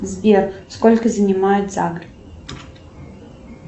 сбер сколько занимает загр